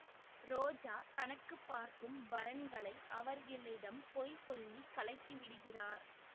ரோஜா தனக்கு பார்க்கும் வரன்களை அவர்களிடம் பொய் சொல்லி கலைத்துவிடுகிறார்